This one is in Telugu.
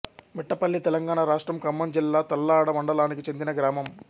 మిట్టపల్లితెలంగాణ రాష్ట్రం ఖమ్మం జిల్లా తల్లాడ మండలానికి చెందిన గ్రామం